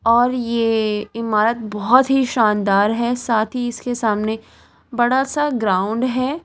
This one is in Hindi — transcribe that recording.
और ये इमारत बहोत ही शानदार है साथ ही इसके सामने बड़ा सा ग्राउंड है।